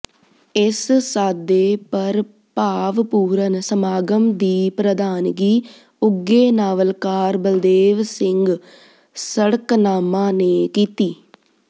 ਇਸ ਸਾਦੇ ਪਰ ਭਾਵਪੂਰਤ ਸਮਾਗਮ ਦੀ ਪ੍ਰਧਾਨਗੀ ਉੱਘੇ ਨਾਵਲਕਾਰ ਬਲਦੇਵ ਸਿੰਘ ਸੜਕਨਾਮਾ ਨੇ ਕੀਤੀ